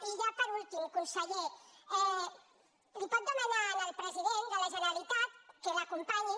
i ja per últim conseller li pot demanar al president de la generalitat que l’acompanyi